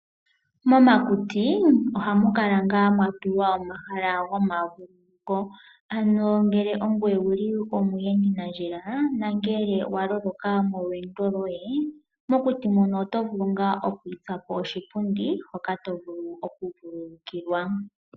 Momakuti ohamu kala ngaa mwatulwa omahala gomavululuko, ano ngele ongoye owuli omuyendinandjila na ngele waloloka molweendo loye mokuti mono oto vulu ngaa oku itsapo oshipundi hoka tovulu okuvululukilwa.